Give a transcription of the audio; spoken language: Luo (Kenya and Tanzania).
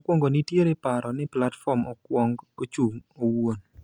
Mokwongo nitiere paro ni platform okwong ochung' owuon .